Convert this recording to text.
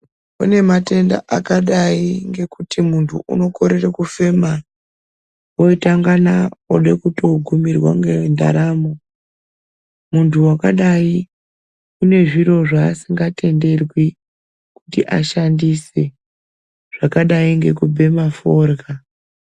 Kune matenda akadai ngekuti muntu unokorere kufema votandana ude kutogumira ngendaramo. Muntu vakadai unezviro zvasi ngatenderwi kuti ashandise zvakadai ngekubhema forya.